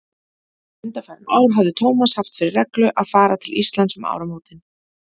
Undanfarin ár hafði Tómas haft fyrir reglu að fara til Íslands um áramótin.